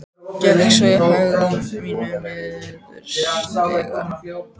Gekk svo í hægðum mínum niður stigann.